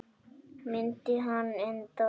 Myndi hann endast?